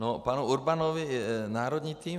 K panu Urbanovi - národní tým.